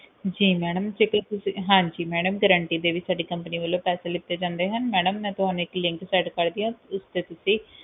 ਜੀ ਮੈਡਮ ਤੁਸੀਂ ਹਾਂਜੀ ਮੈਡਮ guarantee ਦੇ ਵੀ ਸਾਡੀ company ਵੱਲੋਂ ਪੈਸੇ ਲਿੱਟੇ ਜਾਂਦੇ ਹਨ ਮੈਡਮ ਮੈਂ ਤੁਹਾਨੂੰ ਇੱਕ link ਕਰਦੀ ਆ ਉਸ ਤੇ ਤੁਸੀਂ